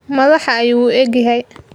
Madaxa ayuu u egyahay.